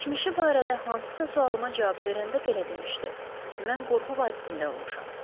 Keçmişi barədə hansısa sualıma cavab verəndə belə demişdi: Mən qorxu vadisində olmuşam.